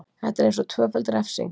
Þetta er eins og tvöföld refsing.